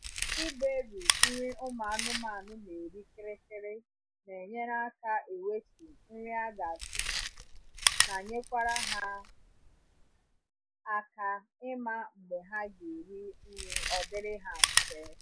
ịberi nri ụmụ anụmanụ na eri kịrịkịrị na enyere aka ewetu nri aga atufu na nyekwara ha aka ịma mgbe ha ga eri nri odiri ha mfề